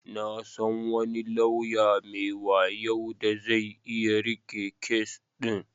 Na san wani lauya mai wayo da zai iya riƙe kes din.